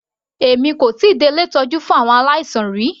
Èmi kò tíì dé ilé ìtọ́jú fún àwọn aláìsàn rí.